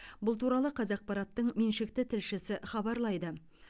бұл туралы қазақпараттың меншікті тілшісі хабарлайды